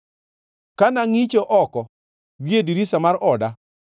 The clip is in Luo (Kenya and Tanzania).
Ka nangʼicho oko gie dirisa mar oda,